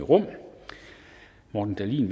morten dahlin